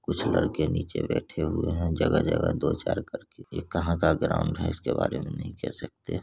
कुछ लड़के नीचे बैठे हुए हैं जगह-जगह दो चार करके ये कहाँ का ग्राउंड है इसके बारे में हम नहीं कह सकते।